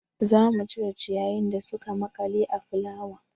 Za mu cire ciyayin da suka maƙale a fulawan.